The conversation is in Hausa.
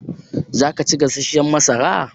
Zaka ci gasashshan masara?